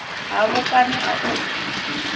hafho kani a u pfi